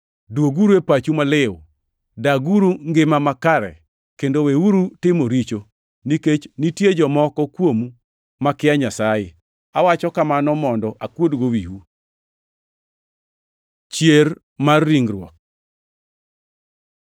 Dwoguru e pachu maliw, daguru ngima makare kendo weuru timo richo, nikech nitie jomoko kuomu makia Nyasaye. Awacho kamano mondo akuodgo wiu. Chier mar ringruok